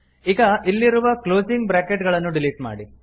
ಈಗ ಇಲ್ಲಿರುವ closing bracket ಗಳನ್ನು ಡಿಲೀಟ್ ಮಾಡಿ